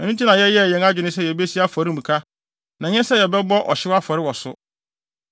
“Ɛno nti yɛyɛɛ yɛn adwene sɛ yebesi afɔremuka, na ɛnyɛ sɛ yɛbɛbɔ ɔhyew afɔre wɔ so,